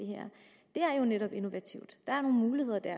er jo netop innovativt der er nogle muligheder der